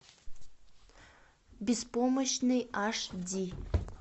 беспомощный аш ди